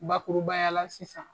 Bakurubaya la sisan.